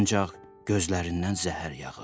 Ancaq gözlərindən zəhər yağır.